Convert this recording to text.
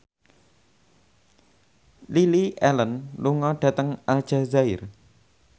Lily Allen lunga dhateng Aljazair